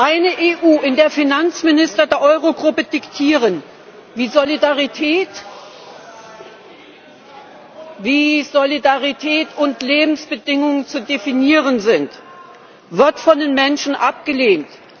Eine EU, in der Finanzminister der Eurogruppe diktieren, wie Solidarität und Lebensbedingungen zu definieren sind, wird von den Menschen abgelehnt.